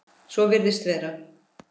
Svo virðist vera.